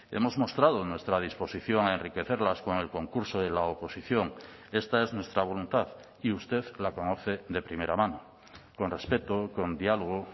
hemos mostrado nuestra disposición a enriquecerlas con el concurso de la oposición esta es nuestra voluntad y usted la conoce de primera mano con respeto con diálogo